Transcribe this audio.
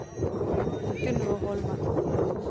Gunnvor Holmen